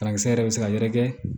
Parakisɛ yɛrɛ bɛ se ka yɛrɛkɛ